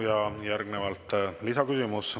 Ja järgnevalt lisaküsimus.